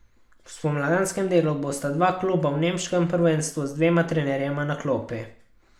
V spomladanskem delu bosta dva kluba v nemškem prvenstvu z dvema trenerjema na klopi.